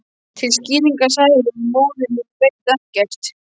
Til skýringar sagði hún: Móðir mín veit ekkert